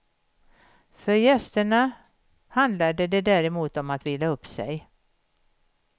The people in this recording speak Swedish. För gästerna handlade det däremot om att vila upp sig.